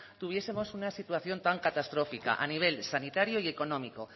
tuviesemos una situación tan catastrófica a nivel sanitario y económico